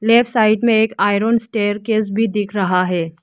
Left side में एक iron staircase भी दिख रहा है।